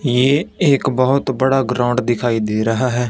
ये एक बहोत बड़ा ग्राउंड दिखाई दे रहा है।